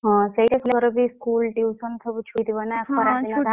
ହଁ ସେତେ ବେଳେ ସବୁ school, tuition ସବୁ